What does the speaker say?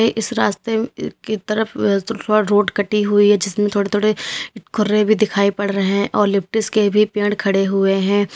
इस रास्ते अह की तरफ थोड़ा रोड कटी हुई है जिसमें थोड़े थोड़े खुर्रे भी दिखाई पड़ रहे हैं और लिप्टिस के भी पेड़ खड़े हुए हैं।